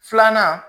Filanan